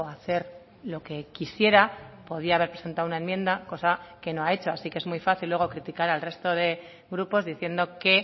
a hacer lo que quisiera podía haber presentado una enmienda cosa que no ha hecho así que es muy fácil luego criticar al resto de grupos diciendo que